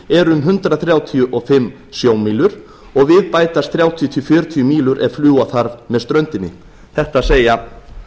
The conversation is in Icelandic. er um hundrað þrjátíu og fimm sjómílur og við bætast þrjátíu til fjörutíu mílur ef fljúga þarf með ströndinni þetta segja